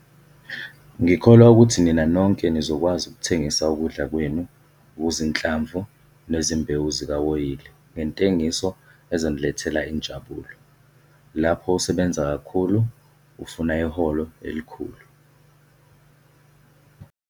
Ngikholwa ukuthi nina nonke nizokwazi ukuthengisa ukudla kwenu okuzinhlamvu nezimbewu zikawoyili ngentengiso ezonilethela injabuliso - lapho usebenza kakhulu ufuna iholo elikhulu.